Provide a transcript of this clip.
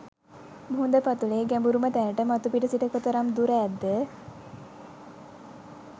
මුහුද පතුලේ ගැඹුරුම තැනට මතුපිට සිට කොතරම් දුර ඇද්ද?